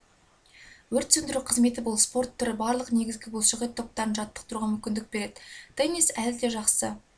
өрт сөндіру қызметі бұл спорт түрі барлық негізгі бұлшықет топтарын жаттықтыруға мүмкіндік береді теннис әлі де жақсы